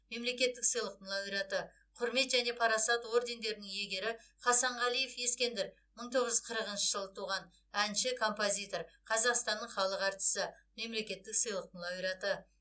мемлекеттік сыйлықтың лауреаты құрмет және парасат ордендерінің иегері хасанғалиев ескендір мың тоғыз жүз қырықыншы жылы туған әнші композитор қазақстанның халық әртісі мемлекеттік сыйлықтың лауреаты